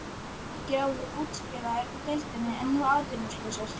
Hve margir áður útskrifaðir úr deildinni eru nú atvinnulausir?